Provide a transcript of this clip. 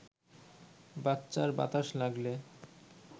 বাচ্চার বাতাস লাগলে